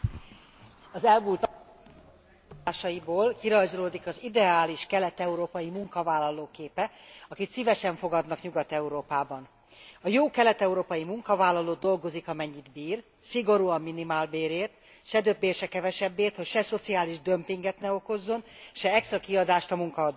Az elmúlt napok híradásaiból kirajzolódik az ideális kelet európai munkavállaló képe, akit szívesen fogadnak Nyugat Európában. A jó kelet európai munkavállaló dolgozik, amennyit bír, szigorúan minimálbérért, se többért, se kevesebbért, hogy se szociális dömpinget ne okozzon, se extra kiadást a munkaadójának.